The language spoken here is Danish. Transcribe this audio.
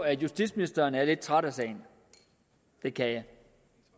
at justitsministeren er lidt træt af sagen det kan